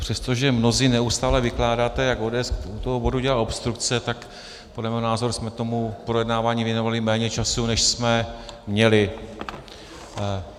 Přestože mnozí neustále vykládáte, jak ODS u toho bodu dělá obstrukce, tak podle mého názoru jsme tomu projednávání věnovali méně času, než jsme měli.